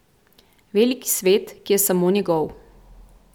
Veliki svet, ki je samo njegov.